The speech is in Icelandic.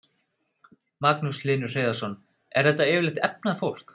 Magnús Hlynur Hreiðarsson: Er þetta yfirleitt efnað fólk?